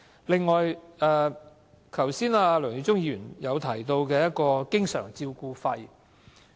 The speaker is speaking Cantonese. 另外，剛才梁耀忠議員提到經常照顧費。